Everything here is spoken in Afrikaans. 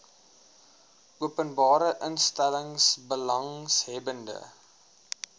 openbare instellings belanghebbende